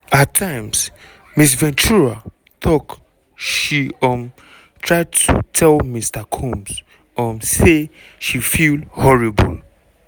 at times ms ventura tok she um try to tell mr combs um say she feel "horrible".